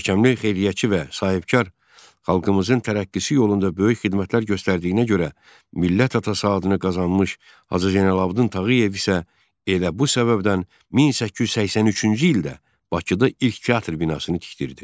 Görkəmli xeyriyyətçi və sahibkar xalqımızın tərəqqisi yolunda böyük xidmətlər göstərdiyinə görə millət atası adını qazanmış Hacı Zeynalabdin Tağıyev isə elə bu səbəbdən 1883-cü ildə Bakıda ilk teatr binasını tikdirdi.